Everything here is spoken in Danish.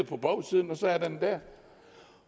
på bagsiden og så er den der